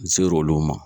N ser'olu ma